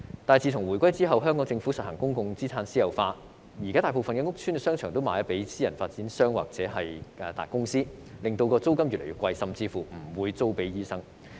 但是，自從回歸後，香港政府實行公共資產私有化，現在大部分屋邨商場售予私人發展商或大公司，令租金越來越昂貴，甚至乎不租給醫生。